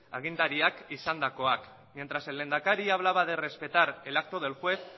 agintariak izandakoak mientras que el lehendakari hablaba de respetar el acto del juez